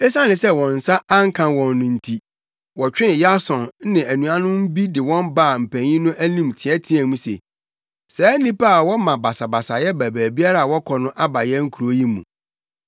Esiane sɛ wɔn nsa anka wɔn no nti, wɔtwee Yason ne anuanom bi de wɔn baa mpanyin no anim teɛteɛɛ mu se, “Saa nnipa a wɔma basabasa ba baabiara a wɔkɔ no aba yɛn kurow yi mu,